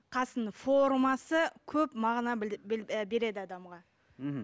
қасының формасы көп мағына береді адамға мхм